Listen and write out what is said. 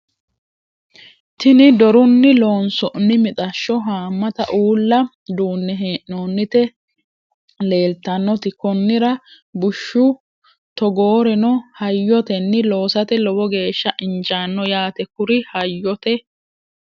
tini dorunni loonsoonni mixashsho haammata uulla duunne hee'noonnite leeltannoti konnira bushshu togooreno hayyotenni loosate lowo geeshsha injaanno yaate kuri hayyote